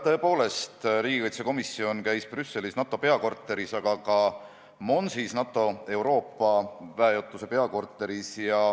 Tõepoolest, riigikaitsekomisjon käis Brüsselis NATO peakorteris, aga ka Monsis, NATO Euroopa väejuhatuse peakorteris.